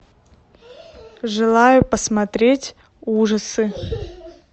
желаю посмотреть ужасы